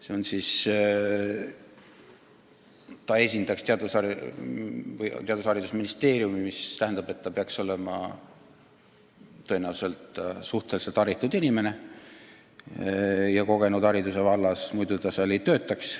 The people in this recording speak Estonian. See inimene, kes esindaks Haridus- ja Teadusministeeriumi, peab olema haritud inimene ja hariduse vallas ka kogenud, muidu ta seal ei töötaks.